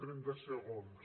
trenta segons